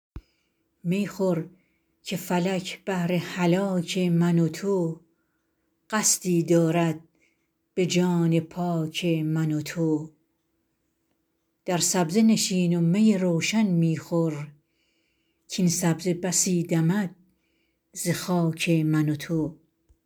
می خور که فلک بهر هلاک من و تو قصدی دارد به جان پاک من و تو در سبزه نشین و می روشن می خور کاین سبزه بسی دمد ز خاک من و تو